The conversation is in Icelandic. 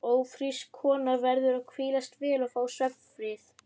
Ófrísk kona verður að hvílast vel og fá svefnfrið.